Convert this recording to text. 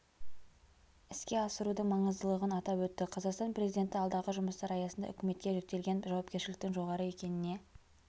іске асырудың маңыздылығын атап өтті қазақстан президенті алдағы жұмыстар аясында үкіметке жүктелген жауапкершіліктің жоғары екеніне